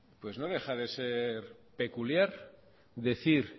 pues no deja de ser peculiar decir